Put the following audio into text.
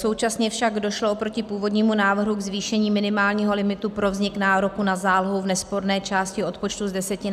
Současně však došlo oproti původnímu návrhu ke zvýšení minimálního limitu pro vznik nároku na zálohu v nesporné části odpočtu z 10 na 50 tisíc.